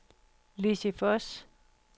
Lizzi Voss